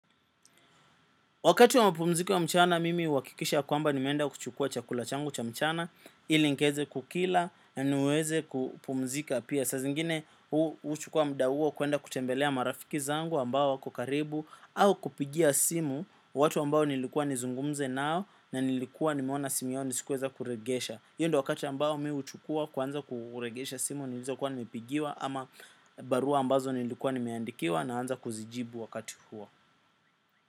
Wakati wa mapumziko ya mchana, mimi huhakikisha ya kwamba nimeenda kuchukua chakula changu cha mchana, ili nikaeze kukila na niweze kupumzika pia. Saa zingine, huchukua muda huo kuenda kutembelea marafiki zangu ambao wako karibu au kupigia simu watu ambao nilikuwa nizungumze nao na nilikuwa nimeona simu yao ni sikuweza kuregesha. Iyo ndio wakati ambao mi huchukua kwanza kuregesha simu nilizokuwa nimepigiwa ama barua ambazo nilikuwa nimeandikiwa naanza kuzijibu wakati huo.